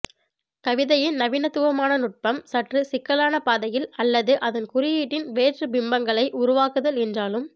கவிதையின் நவீனத்துவமான நுடப்பம் சற்று சிக்கலான பாதயில் அல்லது அதன் குறியீட்டின் வேற்று பிம்பங்களை உருவாக்குதல் என்றாலும்